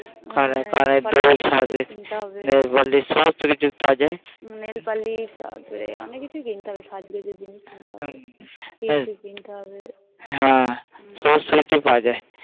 কানের কানের দুল সাজের nail polish সব কিছু সাজের সমস্ত কিছু সাজের nail polish nail polish তারপরে অনেক কিছু কিনতে হবে গোজের জিনিস কিনতে হবে হ্যাঁ সমস্ত কিছু কিনতে হবে